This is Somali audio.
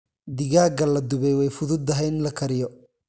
Digaagga la dubay way fududahay in la kariyo.